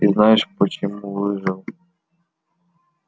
и знаешь почему выжил